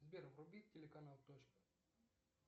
сбер вруби телеканал точка